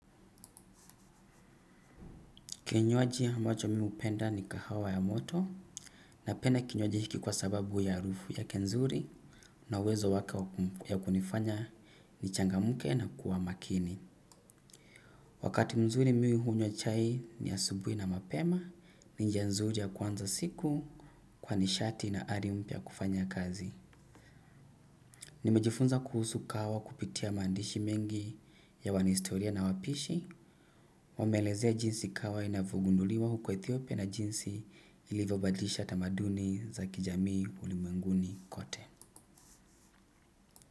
Kinywaji ambacho mimi hupenda ni kahawa ya moto napenda kinywaji hiki kwa sababu ya harufu yake nzuri na uwezo wake ya kunifanya nichangamke na kuwa makini. Wakati mzuri mimi hunywa chai ni asubuhi na mapema ni njia nzuri ya kuanza siku kwa nishati na ari mpya ya kufanya kazi. Nimejifunza kuhusu kahawa kupitia maandishi mengi ya wanahistoria na wapishi, wameelezea jinsi kahawa inavyogunduliwa huko Ethiopia na jinsi ilivyobadilisha tamaduni za kijamii ulimwenguni kote.